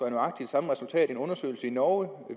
nøjagtig samme resultat som en undersøgelse i norge